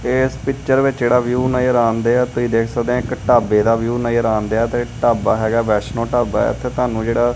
ਇਸ ਪਿਕਚਰ ਵਿੱਚ ਜਿਹੜਾ ਵਿਊ ਨਜ਼ਰ ਆਉਂਦੇ ਆ ਤੁਸੀਂ ਦੇਖ ਸਕਦੇ ਹ ਇਕ ਢਾਬੇ ਦਾ ਵਿਊ ਨਜਰ ਆਣ ਦਿਆ ਤੇ ਢਾਬਾ ਹੈਗਾ ਵੈਸ਼ਨੋ ਢਾਬਾ ਇਥੇ ਤੁਹਾਨੂੰ ਜਿਹੜਾ--